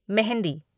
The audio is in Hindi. मेहंदी